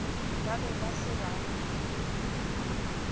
ba be ba se ba